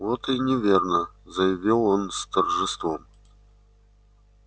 вот и неверно заявил он с торжеством